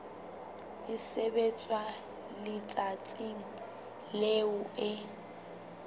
e sebetswa letsatsing leo e